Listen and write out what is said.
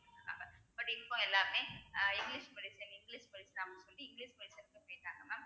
but இப்ப எல்லாருமே ah English medicine English படிச்சாங்கன்னு சொல்லி இங்கிலிஷ் mam